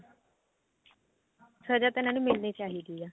ਸਜ਼ਾ ਤਾਂ ਇਹਨਾ ਨੂੰ ਮਿਲਣੀ ਚਾਹੀਦੀ ਆ